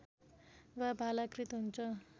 वा भालाकृत हुन्छ